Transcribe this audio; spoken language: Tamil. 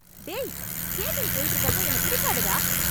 டேய்... ஸ்கேட்டிங் போயிட்டுருக்கறப்போ என்ன பிடிக்காதடா.